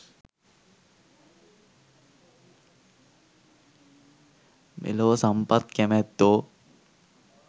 මෙලොව සම්පත් කැමැත්තෝ